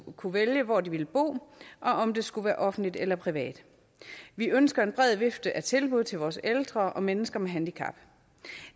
kunne vælge hvor de ville bo og om det skulle være offentligt eller privat vi ønsker en bred vifte af tilbud til vores ældre og mennesker med handicap